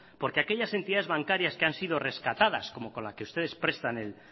porque aquellas entidades bancarias que han sido rescatadas como con la que ustedes prestan y han